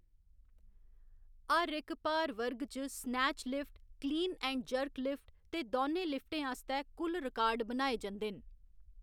हर इक भार वर्ग च snatch lift, clean and jerk lift ते दौनें लिफ्टें आस्तै कुल रिकार्ड बनाए जंदे न।